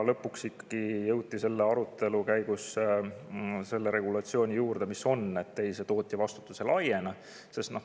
Lõpuks jõuti arutelu käigus ikkagi selle regulatsiooni juurde, mis on, et tootjavastutus sel juhul ei laiene.